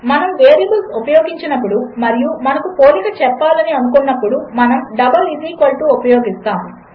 మనమువేరియబుల్స్ఉపయోగించినప్పుడు మరియుమనముపోలికచెప్పాలనిఅనుకున్నప్పుడు మనముడబల్ఈక్వల్టుఉపయోగిస్తాము